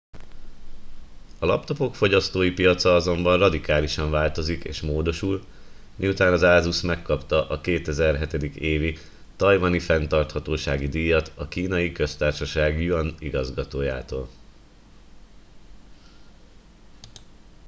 a laptopok fogyasztói piaca azonban radikálisan változik és módosul miután az asus megkapta a 2007. évi tajvani fenntarthatósági díjat a kínai köztársaság yuan igazgatójától